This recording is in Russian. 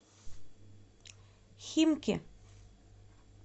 химки